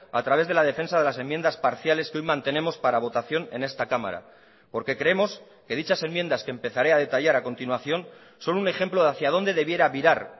a través de la defensa de las enmiendas parciales que hoy mantenemos para votación en esta cámara porque creemos que dichas enmiendas que empezaré a detallar a continuación son un ejemplo de hacía dónde debiera virar